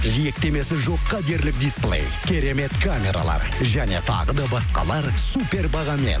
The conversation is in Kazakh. жиектемесі жоққа дерлік дисплей керемет камералар және тағы да басқалар супер бағамен